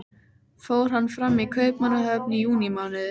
Fór hann fram í Kaupmannahöfn í júnímánuði